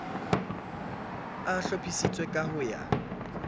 a hlophisitswe ka ho ya